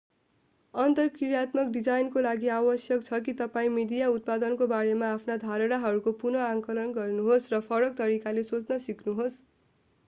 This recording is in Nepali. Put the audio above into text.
अन्तर्क्रियात्मक डिजाइनको लागि आवश्यक छ कि तपाईं मिडिया उत्पादनको बारेमा आफ्ना धारणाहरूको पुनः आंकलन गर्नुहोस् र फरक तरिकाले सोच्न सिक्नुहोस्